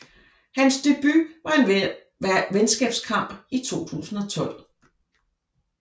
Hans debut var en venskabskamp i 2012